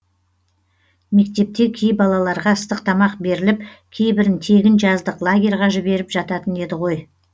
мектепте кей балаларға ыстық тамақ беріліп кейбірін тегін жаздық лагерьге жіберіп жататын еді ғой